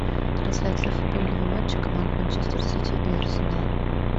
трансляция футбольного матча команд манчестер сити и арсенал